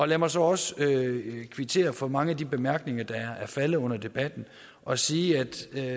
lad mig så også kvittere for mange af de bemærkninger der er faldet under debatten og sige at